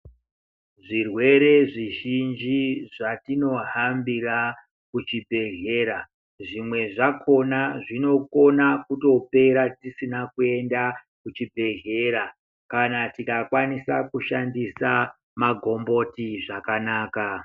Zvirwere zvizhinji zvatinohambira kuchibhedhlera zvimwe zvakhona zvinogona kutopera tisina kuenda kuchibhedhlera kana tikakwanisa kushandisa magomboti zvakanaka .